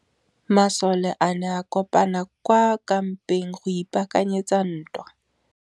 Masole a ne a kopane kwa kampeng go ipaakanyetsa ntwa.